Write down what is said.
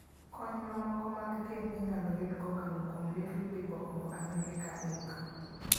Kony mamoko mag thieth inyalo yud kokalo kuom Little People of America, Inc.